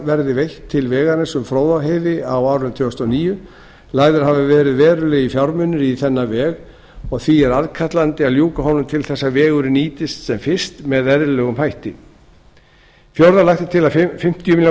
verði veitt til vegarins um fróðárheiði á árinu tvö þúsund og níu lagðir hafa verið verulegir fjármunir í þennan veg og því er aðkallandi að ljúka honum til þess að vegurinn nýtist sem fyrst með eðlilegum hætti fjórða lagt er til að fimmtíu milljónir